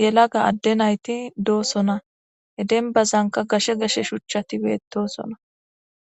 yelaga adde nayti doosona he denbazanka gashe geshe shuchchatibetosona